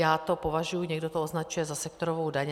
Já to považuji - někdo to označuje za sektorovou daň.